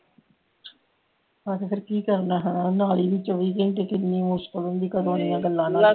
ਅੱਛਾ ਫੇਰ ਕੀ ਕਰਨਾ ਹਾਂ ਨਾਲੀ ਵੀ ਚੋਵੀ ਘੰਟੇ ਕਿੰਨੀ ਮੁਸ਼ਕਲ ਹੁੰਦੀ ਕਰਨ ਵਾਲਿਆਂ ਗੱਲਾਂ